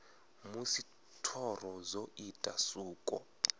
musi thoro dzo ita suko